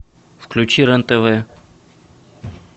включи рен тв